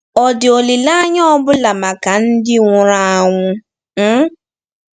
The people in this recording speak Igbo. Ọ̀ dị olileanya ọ bụla maka ndị nwụrụ anwụ um?